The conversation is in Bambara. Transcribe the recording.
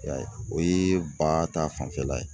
I y'a ye o ye ba ta fanfɛla ye.